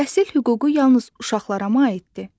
Təhsil hüququ yalnız uşaqlara mı aiddir?